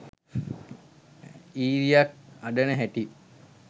ඊරියක් අඬන හැටි